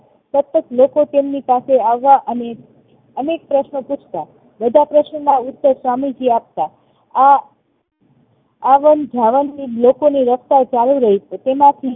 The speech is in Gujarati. સતત લોકો તેમની પાસે આવવા અને અને અનેક પ્રશ્ન પૂછતાં બધા પ્રશ્નોના ઉત્તર સ્વામીજી આપતા આ આવાં જવાન ની વ્યથા ચાલુ રેય છે તેમાંથી